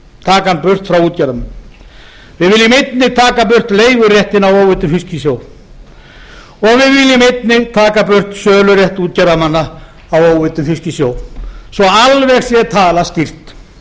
taka hann burt frá útgerðarmönnum við viljum einnig taka burt leiguréttinn á óveiddum fiski í sjó og við viljum einnig taka burt sölurétt útgerðarmanna á óveiddum fiski í sjó svo alveg sé talað skýrt